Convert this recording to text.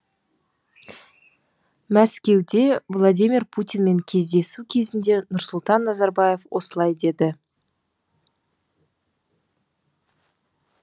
мәскеуде владимир путинмен кездесу кезінде нұрсұлтан назарбаев осылай деді